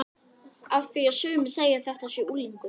Af því að sumir segja að þetta sé unglingur.